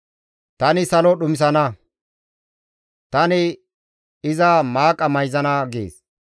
Tani salo dhumisana; tani iza maaqa mayzana» gees.